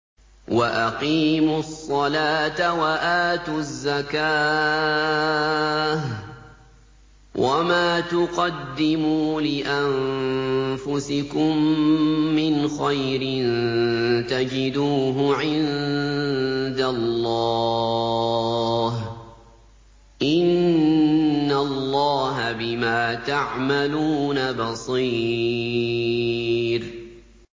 وَأَقِيمُوا الصَّلَاةَ وَآتُوا الزَّكَاةَ ۚ وَمَا تُقَدِّمُوا لِأَنفُسِكُم مِّنْ خَيْرٍ تَجِدُوهُ عِندَ اللَّهِ ۗ إِنَّ اللَّهَ بِمَا تَعْمَلُونَ بَصِيرٌ